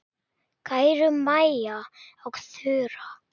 Kæru Maja og Þura.